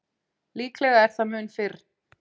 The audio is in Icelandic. líklega er það mun fyrr